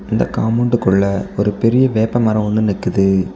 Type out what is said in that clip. இந்த காம்பவுண்டுக்குள்ள ஒரு பெரிய வேப்பமரம் ஒன்னு நிக்குது.